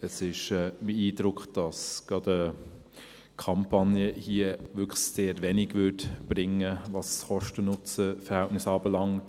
Es ist mein Eindruck, dass gerade eine Kampagne hier wirklich sehr wenig bringen würde, was das Kosten-Nutzen-Verhältnis anbelangt.